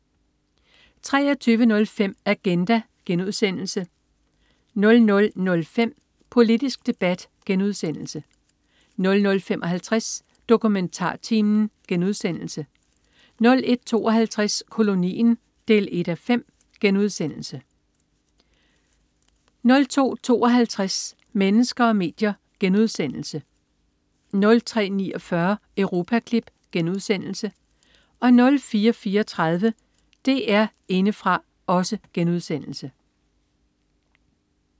23.05 Agenda* 00.05 Politisk debat* 00.55 DokumentarTimen* 01.52 Kolonien 1:5* 02.52 Mennesker og medier* 03.49 Europaklip* 04.34 DR Indefra*